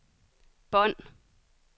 bånd